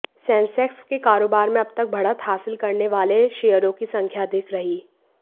Sensex के कारोबार में अब तक बढ़त हासिल करने वाले शेयरों की संख्या अधिक रही